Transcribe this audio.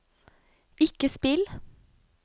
ikke spill